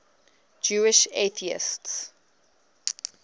jewish atheists